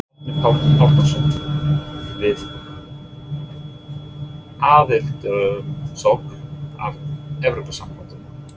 Árni Páll Árnason: Við aðildarumsókn að Evrópusambandinu?